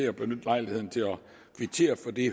at benytte lejligheden til at kvittere for det